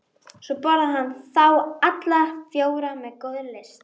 Svo borðaði hann þá alla fjóra með góðri lyst.